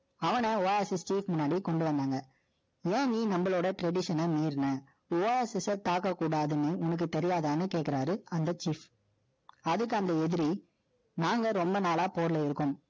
அவன, Oasis street முன்னாடி கொண்டு வந்தாங்க. ஏன், நீ நம்மளோட Tradition ஐ மீறின? Oasis ஐ தாக்கக் கூடாதுன்னு, உனக்கு தெரியாதான்னு கேட்கிறாரு, அந்த chief. அதுக்கு அந்த எதிரி, நாங்க ரொம்ப நாளா, போர்ல இருக்கோம்.